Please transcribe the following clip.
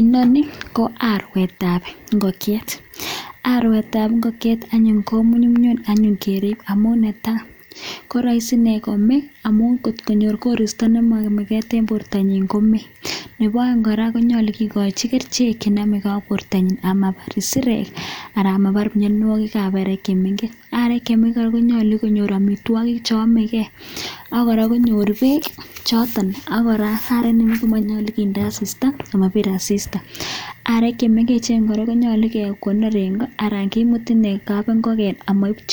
inoniii ko arwet ap ingokieet amun nyumnyum mising komeeee amun ngomakirip komnyee komeitoss ako nepo aeek arek konyaluu kepaiinkomnyeee arek kora konyaluu kerip maiip tiondop barak natok kikuree chepsireret anan komandago anan ko ngoktap pakeet nako aarek